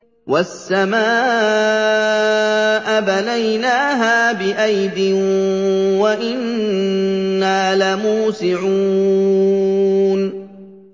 وَالسَّمَاءَ بَنَيْنَاهَا بِأَيْدٍ وَإِنَّا لَمُوسِعُونَ